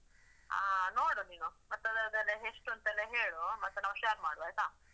ಅಹ್ ನೋಡು ನೀನು. ಮತ್ತದೇ ಅದದೆಲ್ಲ ಎಷ್ಟೂಂತೆಲ್ಲ ಹೇಳೂ, ಮತ್ತೆ ನಾವ್ share ಮಾಡುವ ಆಯ್ತಾ?